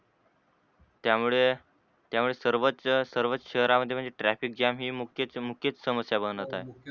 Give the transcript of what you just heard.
त्यामुळे त्यामूळेच सर्वच सर्वच शहरात मध्ये traffic jam हि मुख्यच मुख्यच समस्या बनत आहे